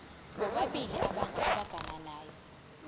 bobabili abantu abagananayo